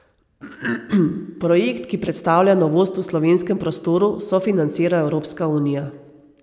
Projekt, ki predstavlja novost v slovenskem prostoru, sofinancira Evropska unija.